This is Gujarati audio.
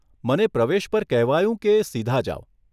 મને પ્રવેશ પર કહેવાયું કે સીધા જાવ.